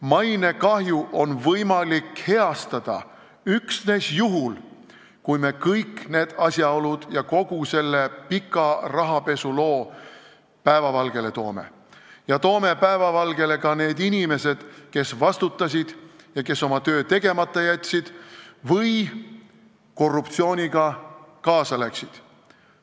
Ja mainekahju on võimalik heastada üksnes juhul, kui me kõik need asjaolud, kogu selle pika rahapesu loo päevavalgele toome ja toome päevavalgele ka need inimesed, kes vastutasid ja oma töö tegemata jätsid või korruptsiooniga kaasa läksid.